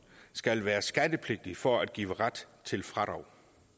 skal være skattepligtig for at give ret til fradrag